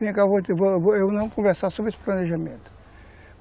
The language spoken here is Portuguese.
Vem cá, nós iremos conversar sobre esse planejamento.